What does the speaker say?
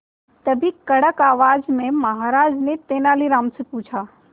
तभी कड़क आवाज में महाराज ने तेनालीराम से पूछा